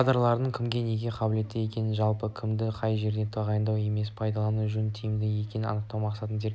кадрларды кімнің неге қабілетті екенін жалпы кімді қай жерге тағайындау емес пайдалану жөн тиімді екенін анықтау мақсатында зерттеп